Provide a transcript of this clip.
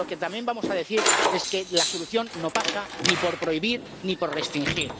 Pero lo que también vamos a decir es que la solución no pasa ni por prohibir ni por restringir.